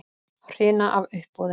Hrina af uppboðum